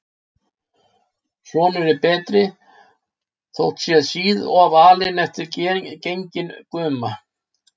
Sonur er betri, þótt sé síð of alinn eftir genginn guma.